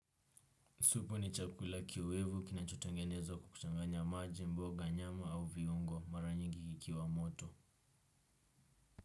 Supu ni chakula kiwevu kinachotangenezwa kwa kuchanganya maji, mboga, nyama au viungo mara nyingi kikiwa moto.